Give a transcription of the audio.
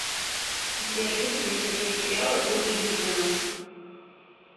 сбер любит ли смотреть сериалы ольга юрьевна